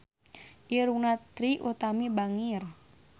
Irungna Trie Utami bangir